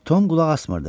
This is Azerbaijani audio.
Tom qulaq asmırdı.